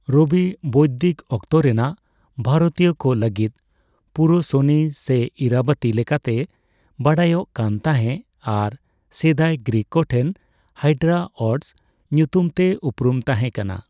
ᱨᱚᱵᱤ ᱵᱳᱭᱫᱤᱠ ᱚᱠᱛᱚ ᱨᱮᱱᱟᱜ ᱵᱷᱟᱨᱚᱛᱤᱭᱚ ᱠᱚ ᱞᱟᱹᱜᱤᱫ ᱯᱩᱨᱩᱥᱚᱱᱤ ᱥᱮ ᱤᱨᱟᱵᱚᱛᱤ ᱞᱮᱠᱟᱛᱮ ᱵᱟᱰᱟᱭᱚᱠ ᱠᱟᱱ ᱛᱟᱦᱮᱸ ᱟᱨ ᱥᱮᱫᱟᱭ ᱜᱨᱤᱠ ᱠᱚ ᱴᱷᱮᱱ ᱦᱟᱭᱰᱨᱟᱳᱴᱥ ᱧᱩᱛᱩᱢ ᱛᱮ ᱩᱯᱨᱩᱢ ᱛᱟᱸᱦᱮᱠᱟᱱᱟ ᱾